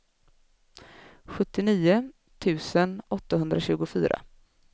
sjuttionio tusen åttahundratjugofyra